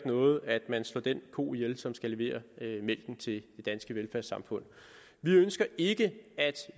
noget at man slår den ko ihjel som skal levere mælken til det danske velfærdssamfund vi ønsker ikke at